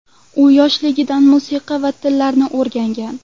U yoshligidan musiqa va tillarni o‘rgangan.